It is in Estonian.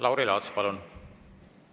Lauri Laats, palun!